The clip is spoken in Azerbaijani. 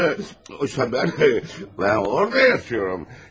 Xoşbəxtlik mən orada yaşıyıram.